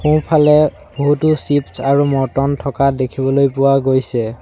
সোঁ ফালে বহুতো চিপছ আৰু মৰ্টন থকা দেখিবলৈ পোৱা গৈছে।